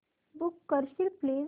book करशील please